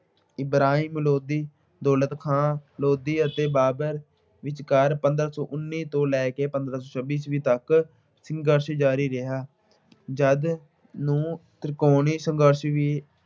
ਇਬਰਾਹਿਮ ਲੋਧੀ, ਦੌਲਤ ਖਾਂ ਲੋਧੀ ਅਤੇ ਬਾਬਰ ਵਿੱਚਕਾਰ ਪੰਦਰਾਂ ਸੌ ਉਨੀ ਤੋਂ ਲੈ ਕੇ ਪੰਦਰਾਂ ਸੌ ਛੱਬੀ ਈਸਵੀ ਤੱਕ ਸੰਘਰਸ਼ ਜਾਰੀ ਰਿਹਾ ਜਿਸ ਨੂੰ ਤਿਰਕੋਣੀ ਸੰਘਰਸ਼ ਵੀ